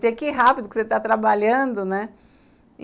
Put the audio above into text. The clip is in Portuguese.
Tinha que ir rápido, porque você está trabalhando, né?